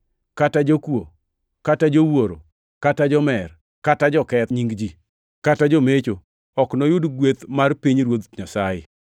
kata jokuo, kata jowuoro, kata jomer, kata joketh nying ji, kata jomecho, ok noyud gweth mar pinyruoth Nyasaye.